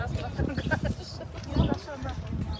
Daş yığdıq, daş yığdıq.